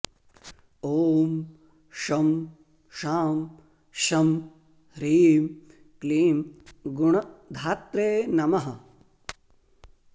ॐ शं शां षं ह्रीं क्लीं गुणधात्रे नमः